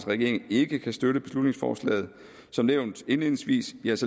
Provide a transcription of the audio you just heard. regeringen ikke kan støtte beslutningsforslaget som nævnt indledningsvis